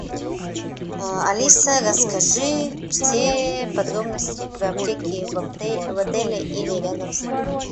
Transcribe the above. алиса расскажи все подробности про аптеки в отеле или рядом с ним